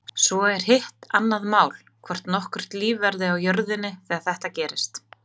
Svo er hitt annað mál, hvort nokkurt líf verður á jörðinni þegar þetta gerist.